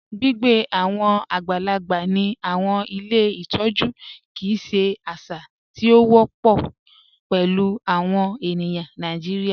Gbigbe awọn agbàlàgbà ni awọn ilẹ̀ ìtọ̀jú kíi ṣè àṣà tí o wọpọ pẹ̀lú awọn ènìyàn Nàìjíríà.